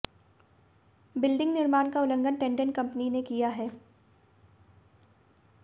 building निर्माण का उल्लंघन टेंडेंट कंपनी ने किया है